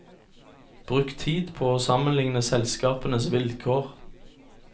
Bruk tid på å sammenligne selskapenes vilkår.